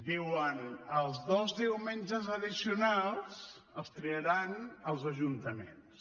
diuen els dos diumenges addicionals els triaran els ajuntaments